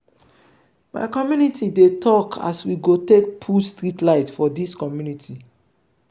my community dey tok as we go take put street light for dis community.